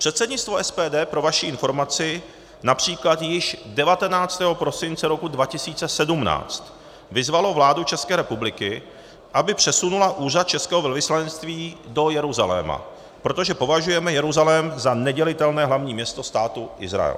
Předsednictvo SPD, pro vaši informaci, například již 19. prosince roku 2017 vyzvalo vládu České republiky, aby přesunula úřad českého velvyslanectví do Jeruzaléma, protože považujeme Jeruzalém za nedělitelné hlavní město Státu Izrael.